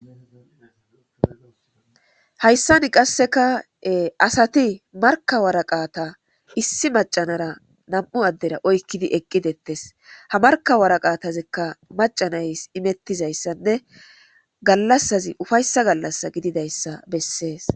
Hayssani qasseka asati marka waraqata issi macanara nam'u addera oykkidi eqqidettes ha markawaraqatazikka macanays imettizayssanne gallassazi ufayssa gallassa gididayssa bessees.